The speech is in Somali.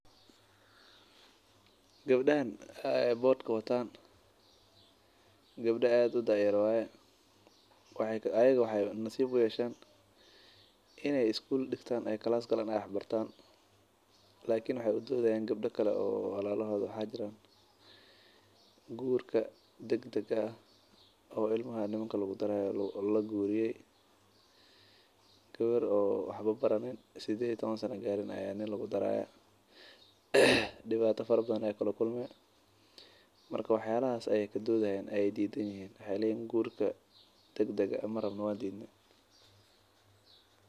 Gabdahan wataan bahashan waa kuwa aad u daa yar waxeey nasiib uyeeshen inaay wax bartaan lakin waxeey u doodi haayan kuwa saxibdood ah oo wax aan baranin oo guur dagdag ah lasiinayo.